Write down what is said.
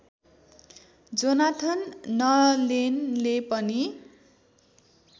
Jonathan नलेनले पनि